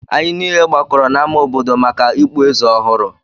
Anyị niile gbakọrọ n'ámá obodo maka ikpu eze ọhụrụ